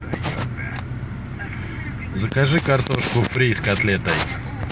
закажи картошку фри с котлетой